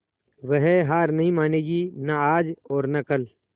वह हार नहीं मानेगी न आज और न कल